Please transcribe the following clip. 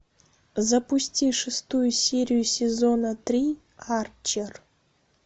запусти шестую серию сезона три арчер